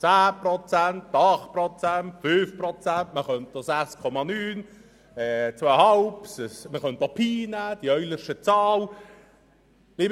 10 Prozent, 8 Prozent, 5 Prozent – man könnte auch noch 6,9 oder 2,5 Prozent, Pi oder die Eulersche Zahl nehmen.